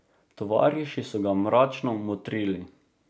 Tovariši so ga mračno motrili.